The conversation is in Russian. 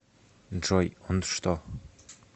джой он что